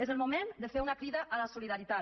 és el moment de fer una crida a la solidaritat